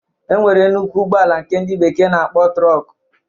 E nwere nnukwu ụgbọala nke ndị bekee na-akpọ trọk